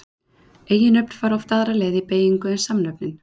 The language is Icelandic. Eiginnöfn fara oft aðra leið í beygingu en samnöfnin.